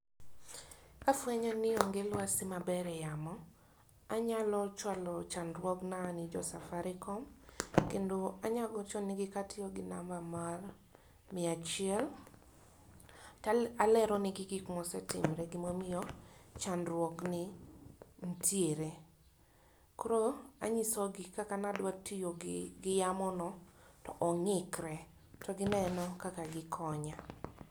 kafwenyo ni ong'e lwasi maber e yamo anyalo chwalo chandruogna ne jo safaricom kendo anyalo gocho ne gi katiyo gi namba mar mia achiel talero ne gi gik ma osetimore gimomiyo chandruogni nitiere koro anyisogi kaka nadwa tiyo gi yamono to ongikre to gineno kaka gikonya.